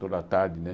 Toda tarde, né?